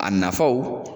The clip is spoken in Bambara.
A nafaw